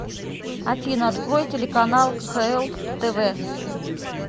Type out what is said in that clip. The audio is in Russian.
афина открой телеканал кхл тв